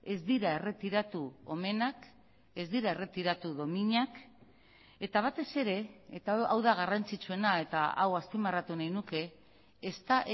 ez dira erretiratu omenak ez dira erretiratu dominak eta batez ere eta hau da garrantzitsuena eta hau azpimarratu nahi nuke ez da